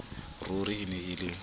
ruri e ne e le